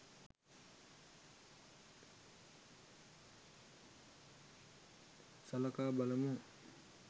සලකා බලමු